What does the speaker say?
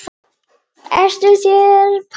Ertu frá þér, pabbi minn?